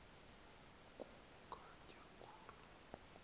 ku ugatya khulu